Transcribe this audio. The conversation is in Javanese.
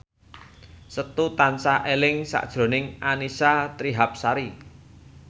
Setu tansah eling sakjroning Annisa Trihapsari